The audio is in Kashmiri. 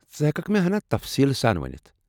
ژٕ ہیككھہٕ مے٘ ہنا تفصیٖل سان ونِتھ ؟